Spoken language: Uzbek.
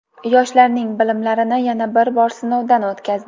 Yoshlarning bilimlarini yana bir bor sinovdan o‘tkazdi.